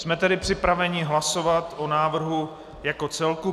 Jsme tedy připraveni hlasovat o návrhu jako celku.